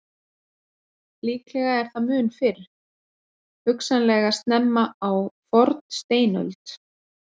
Líklega er það mun fyrr, hugsanlega snemma á fornsteinöld.